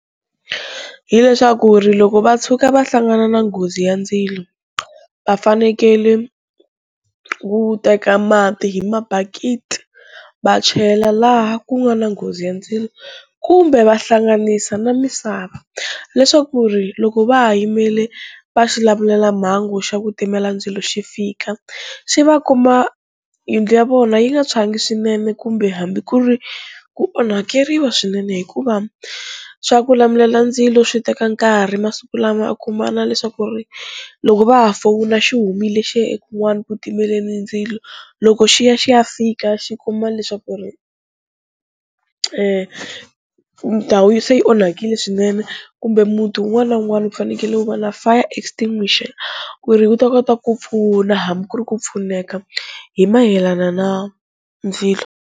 Hi leswaku ri loko va tshuka va hlangana na nghozi ya ndzilo va fanekele ku teka mati hi mabakiti va chela laha ku nga na nghozi ya ndzilo kumbe vahlanganisa na misava leswaku ri loko va ha yimele va xilamulelamhangu xa ku timela ndzilo xi fika xi va kuma yindlu ya vona yi nga tshwangi swinene kumbe hambi ku ri ku onhakeriwa swinene, hikuva swa ku lamulela ndzilo swi teka nkarhi masiku lama a kuma na leswaku ri loko va ha fowuna xi humile xiya e kun'wani ku timeleni ndzilo, loko xi ya xi ya fika xi kuma leswaku ri ndhawu se yi onhakile swinene kumbe muti wun'wana na wun'wana u fanekele u va na fire extinguisher ku ri wu ta kota ku pfuna hambi ku ri ku pfuneka hi mayelana na ndzilo.